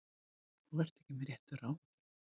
Þú ert ekki með réttu ráði.